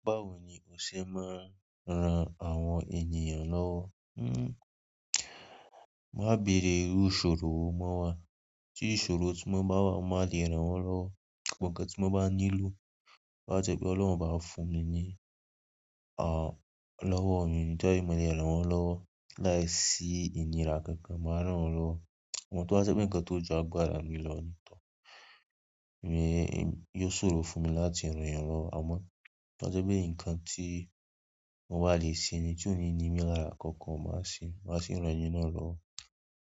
Báwo ni o ṣe máa ń ran àwọn ènìyàn lọ́wọ́? Máa béèrè iru ìṣòro mọ́ wa. Tí ìṣòro tí wọ́n bá wà, má le ràn wọ́n lọ́wọ́. Ǹkan tí wọ́n bá nílò, bá jẹ́ pé Ọlọ́run bá fún mi ní, à, lọ́wọ́ èèyàn ní bí mo le ràn wọ́n lọ́wọ́ láìsí ìnira kankan, màá ràn wọ́n lọ́wọ́. A fi toba je nkan to ju agbára mi lo ni yio sọ̀rọ̀ láti ran yan lowo àmọ́ tí ó jẹ́ pé nǹkan tí mo bá lè ṣe mi tí ò ní ní mi lára kankan, màá ṣe, màá fì ran ẹni náà lọ́wọ́.